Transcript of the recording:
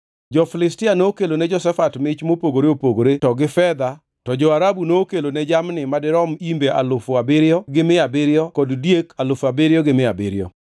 Jo-Filistia nokelone Jehoshafat mich mopogore opogore to gi fedha; to jo-Arabu nokelone jamni madirom imbe alufu abiriyo gi mia abiriyo kod diek alufu abiriyo gi mia abiriyo.